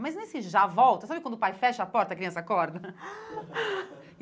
Mas nesse já volta, sabe quando o pai fecha a porta e a criança acorda?